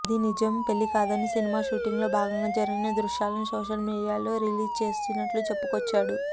అది నిజం పెళ్లి కాదని సినిమా షూటింగ్ లో భాగంగా జరిగిన దృశ్యాలను సోషల్ మీడియాలో రిలీజ్ చేసినట్లు చెప్పుకొచ్చాడు